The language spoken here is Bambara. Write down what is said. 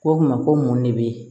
Ko kuma ko mun de bɛ yen